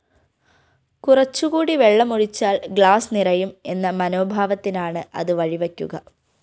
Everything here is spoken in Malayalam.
കുറച്ചുകൂടി വെള്ളമൊഴിച്ചാല്‍ ഗ്ലാസ്‌ നിറയും എന്ന മനോഭാവത്തിനാണ് അത് വഴിവയ്ക്കുക